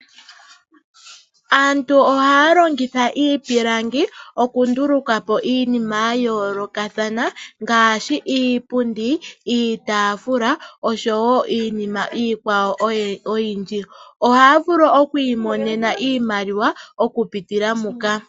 Aantu ohaya longitha iipilangi oku nduluka po iinima ya yoolokathana ngaashi iipundi , iitaafula oshowo iinima oyindji. Ohaya vulu okwiimonena iimaliwa oku pitila muka.